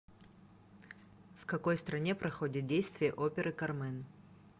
в какой стране проходит действие оперы кармен